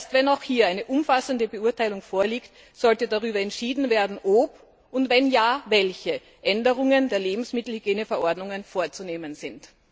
Erst, wenn auch hier eine umfassende Beurteilung vorliegt, sollte darüber entschieden werden, ob und, wenn ja, welche Änderungen der Lebensmittelhygieneverordnungen vorzunehmen sind.